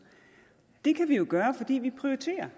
det kan vi jo gøre fordi vi prioriterer